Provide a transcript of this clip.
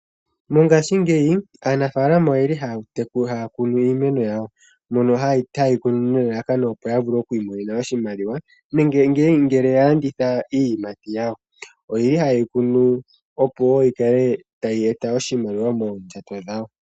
Mongaashingeyi aanafaalama oyeli haya kunu iimeno yawo mono ha ye yi kunu nelalakano opo ya vule oku imonena oshimaliwa nenge ngele ya landitha iiyimati yawo. Oyeli ha ye yi kunu opo wo yi kale tayi e ta oshimaliwa moondjato dhawo.